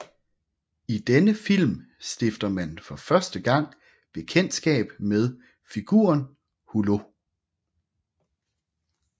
I denne film stifter man for første gang bekendtskab med figuren Hulot